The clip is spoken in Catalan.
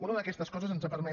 una d’aquestes coses ens ha permès